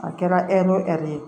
A kɛra ɛri ye